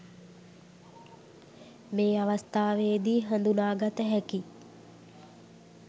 මේ අවස්ථාවේ දී හඳුනාගත හැකි